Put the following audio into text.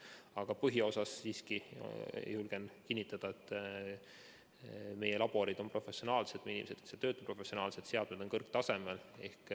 Aga põhiosas, julgen siiski kinnitada, meie laborid on professionaalsed, inimesed, kes seal töötavad, on professionaalsed, seadmed on kõrgtasemel.